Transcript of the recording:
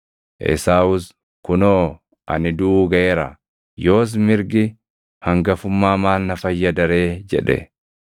Esaawus, “Kunoo, ani duʼuu gaʼeera; yoos mirgi hangafummaa maal na fayyada ree?” jedhe.